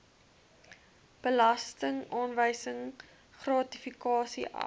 belastingaanwysing gratifikasie af